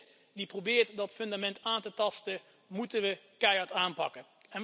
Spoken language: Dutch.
Eenieder die probeert dat fundament aan te tasten moeten we keihard aanpakken.